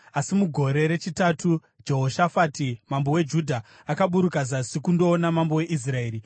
Asi mugore rechitatu, Jehoshafati mambo weJudha akaburuka zasi kundoona mambo weIsraeri.